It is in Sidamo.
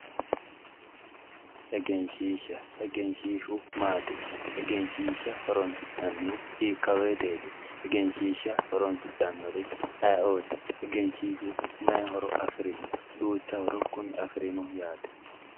egenshiisha egenshiishu maati egenshiisha horonsi'nannihu hiikkawoyiiteeti egenshiishsha horonsidhanori ayiiooti egenshiishshu mayi horo afirino ducha horo kuni afirino yaate.